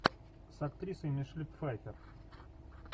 с актрисой мишель пфайффер